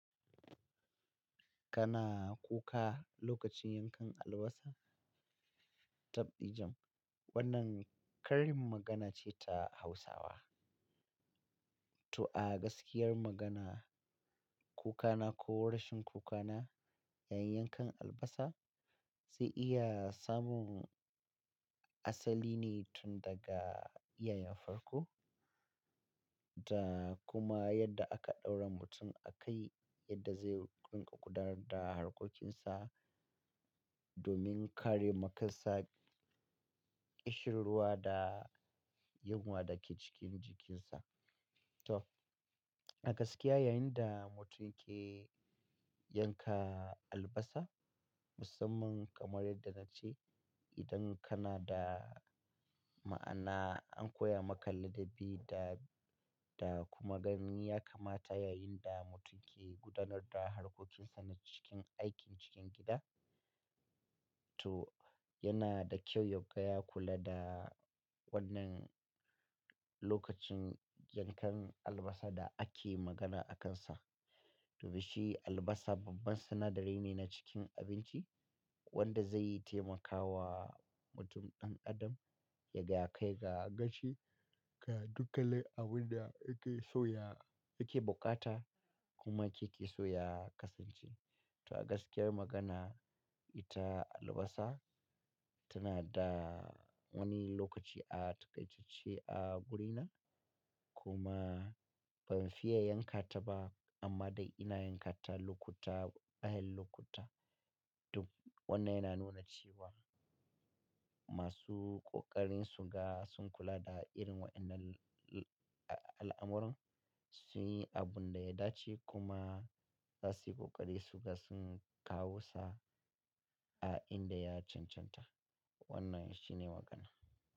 Kana kuka lokacin yankan albasa? Tabdijin. Wannan karin magana ce ta Hausawa. To a gaskiyar magana, kukana ko rashin kukana yayin yankan albasa zai iya samun asali ne tun daga iyayen farko. Ta kuma yadda aka ɗaura mutum a kai, yadda zai rinƙa gudanar da harkokinsa domin kare makansa, ƙishirwa da yunwa da ke cikin jikinsa. To a gaskiya yayin da mutum ke yanka albasa, musamman kamar yadda na ce, idan kana da ma'ana an koya maka ladabi da, da kuma ganin ya kamata yayin da mutum ke gudanar da harkokinsa na cikin aikin cikin gida. To yana da kyau ya gaya kula da wannan lokacin yankan albasa da ake magana akansa. Dubi shi albasa babban sinadari ne na cikin abinci wanda zai taimakawa mutum ɗan adam yaga ya kai ga gacii ga dukanin abin da yake so ya, yake bukata kuma yake so ya kasance. To a gaskiyar magana, ita albasa tana da wani lokaci a takaitacce a guri na, kuma ban fiye yanka ta ba amma dai ina yanka ta lokuta, bayan lokuta. Dubi wannan yana nuna cewa masu ƙoƙarin su ga sun kula da irin waɗannan al'amuran sun yi abun da ya dace kuma za su yi ƙoƙari su ga sun kawo sa a inda ya cancanta. Wannan shi ne magana.